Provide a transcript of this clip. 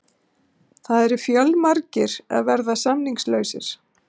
Það eru fjölmargir að verða samningslausir.